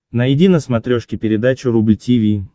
найди на смотрешке передачу рубль ти ви